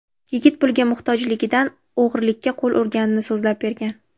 Yigit pulga muhtojligidan o‘g‘rilikka qo‘l urganini so‘zlab bergan.